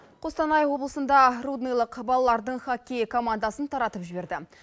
қостанай облысында рудныйлық балалардың хоккей командасын таратып жіберді